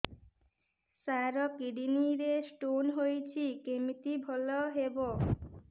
ସାର kidney ରେ stone ହେଇଛି କମିତି ଭଲ ହେବ